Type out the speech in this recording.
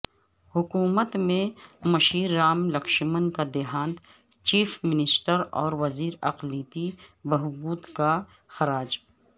حکومت کے مشیر رام لکشمن کا دیہانت چیف منسٹر اور وزیر اقلیتی بہبود کا خراج